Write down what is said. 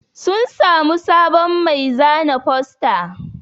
Sun samu sabon mai zana fosta